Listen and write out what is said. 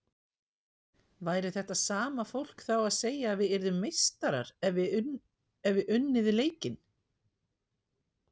Væri þetta sama fólk þá að segja að við yrðum meistarar hefðum við unnið leikinn?